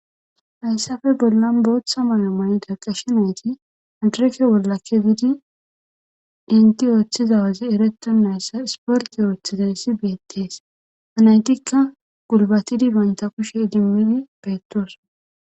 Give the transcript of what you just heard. hayssafe bollan booththa mayamayida qashe nayti andreke wollakke giidi inti ooththizawazi ereto nayssa sporti ooththizayssi beettees anaytikka gulbatidi baynta kushe idimmidi beettoso